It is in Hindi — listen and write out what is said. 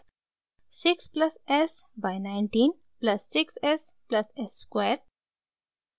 6 plus s by 19 plus 6 s plus s square